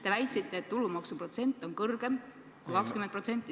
Te väitsite, et tulumaksuprotsent selles eelnõus on kõrgem kui 20%.